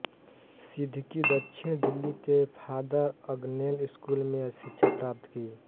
सिद्दीकी दक्षिण दिल्ली के father Agnel school में शिक्षा प्राप्त की